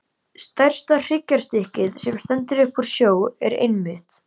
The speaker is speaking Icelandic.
Stærsta hryggjarstykkið, sem stendur upp úr sjó, er einmitt